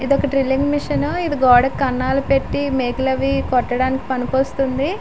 ఇదొక drilling machine ఇది గోడకి కన్నాలు పెట్టి మేకులు అవి కొట్టటానికి పనికి వస్తుంది.